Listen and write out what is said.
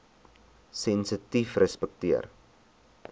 sensitiefrespekteer